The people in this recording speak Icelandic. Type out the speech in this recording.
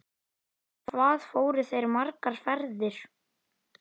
En hvað fóru þeir margar ferðir?